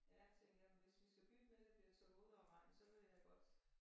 Ja tænker jeg men hvis vi skal bytte med det bliver tåget og regn så vil jeg godt